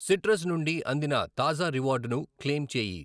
Citrus నుండి అందిన తాజా రివార్డును క్లెయిమ్ చేయి.